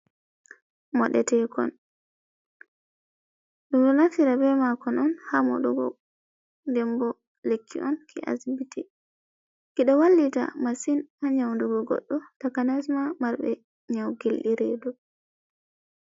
Modetekon: Ɗum ɗo nafira be makon on ha moɗugo nden bo lekki on ki asibiti. Kiɗo wallita masin a nyaudugo goɗɗo takanas ma marɓe nyau gilɗi redu.